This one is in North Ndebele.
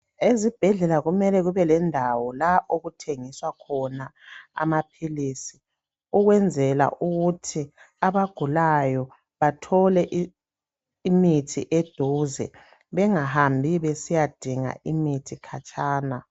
Ezibhedlela kumele kube lendawo la okuthengiswa khona amaphilizi, ukwenzela ukuthi abagulayo bathole imithi eduze bengahambi besiyadinga imithi khatshana.